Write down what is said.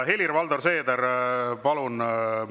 Helir-Valdor Seeder, palun!